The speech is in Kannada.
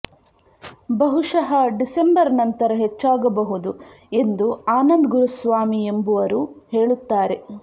ಬಹುಶಃ ಡಿಸೆಂಬರ್ ನಂತರ ಹೆಚ್ಚಾಗಬಹುದು ಎಂದು ಆನಂದ್ ಗುರುಸ್ವಾಮಿ ಎಂಬುವರು ಹೇಳುತ್ತಾರೆ